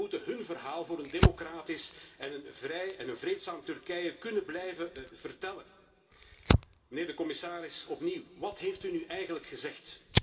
Zij moeten hun verhaal voor een democratisch en een vrij en vreedzaam Turkije kunnen blijven vertellen. Meneer de commissaris, opnieuw wat heeft u nu eigenlijk gezegd?